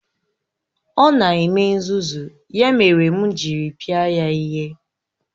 Ọ na-eme nzuzu, ya mere m jiri pịa ya ihe.